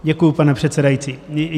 Děkuji, pane předsedající.